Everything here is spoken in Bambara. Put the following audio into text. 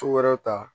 wɛrɛw ta